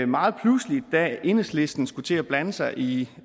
meget pludseligt da enhedslisten skulle til at blande sig i